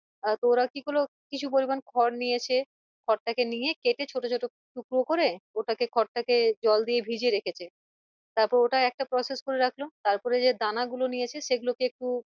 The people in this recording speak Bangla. আহ তো ওরা কি করলো কিছু পরিমাণ খর নিয়েছে খরটাকে নিয়ে কেটে ছোটো ছোটো টুকরো করে ওটাকে খরটাকে জল দিয়ে ভিজিয়ে রেখেছে তারপর ওটা একটা process করে রাখলো তারপরে যে দানা গুলো নিয়েছে সেগুলো কে একটু